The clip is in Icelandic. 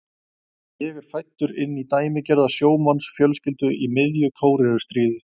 Ég er fæddur inn í dæmigerða sjómannsfjölskyldu í miðju Kóreustríði.